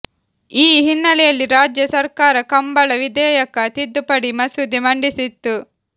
ಈ ಹಿನ್ನೆಲೆಯಲ್ಲಿ ರಾಜ್ಯ ಸರ್ಕಾರ ಕಂಬಳ ವಿಧೇಯಕ ತಿದ್ದುಪಡಿ ಮಸೂದೆ ಮಂಡಿಸಿತ್ತು